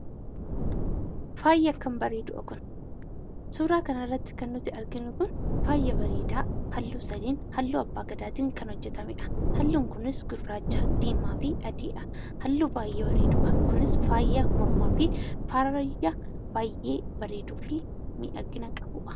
Faaya akkam bareeduu dha kun! Suuraa kana irratti kan nuti arginu kun faaya bareedaa halluu sadiin (halluu Abbaa Gadaatiin) kan hojjetamee dha. Halluun kunis gurraacha, diimaa fi adii dha. Halluu baay'ee bareeduu dha. Kunis faaya mormaa fi faaya baay'ee bareeduu fi miidhagina qabu dha.